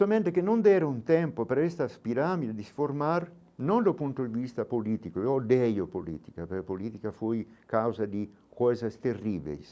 Somente que não deram tempo para estas pirâmides formar, não do ponto de vista político, eu odeio política, porque política foi causa de coisas terríveis.